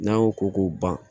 N'an y'o ko k'o ban